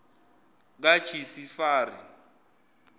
kajisifari